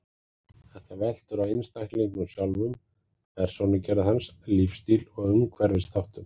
Þetta veltur á einstaklingnum sjálfum, persónugerð hans, lífsstíl og umhverfisþáttum.